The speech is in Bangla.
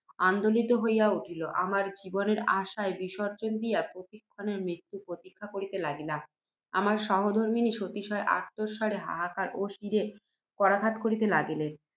আন্দোলিত হইয়া উঠিল। আমরা জীবনের আশায় বিসর্জ্জন দিয়া, প্রতি ক্ষণেই মৃত্যু প্রতীক্ষা করিতে লাগিলাম। আমার সহধর্ম্মিণী সাতিশয় আর্ত্ত স্বরে হাহাকার ও শিরে করাঘাত করিতে লাগিলেন।